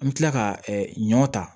An bɛ tila ka ɲɔn ta